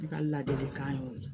Ne ka ladilikan y'o ye